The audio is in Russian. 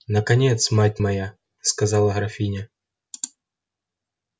наконец мать моя сказала графиня